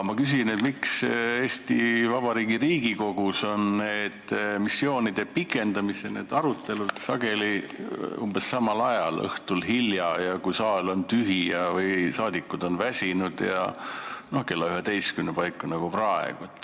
Ma küsin, miks on Eesti Vabariigi Riigikogus missioonide pikendamise arutelud sageli umbes samal ajal – õhtul hilja, kui saal on tühi või saadikud väsinud, kella üheteist paiku nagu praegu.